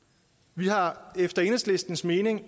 vi har efter enhedslistens mening